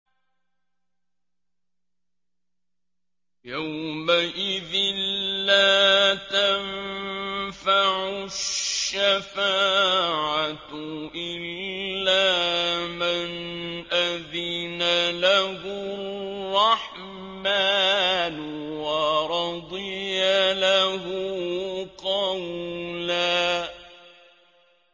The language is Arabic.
يَوْمَئِذٍ لَّا تَنفَعُ الشَّفَاعَةُ إِلَّا مَنْ أَذِنَ لَهُ الرَّحْمَٰنُ وَرَضِيَ لَهُ قَوْلًا